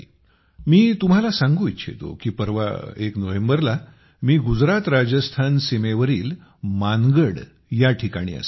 मी तुम्हांला सांगू इच्छितो की परवा एक नोव्हेंबरला मी गुजरातराजस्थान सीमेवरील मानगड या ठिकाणी असेन